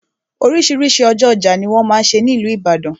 Oríṣiríṣi ọjọ́ ọjà ni wọ́n máa n ṣe ní ìlú Ìbàdàn.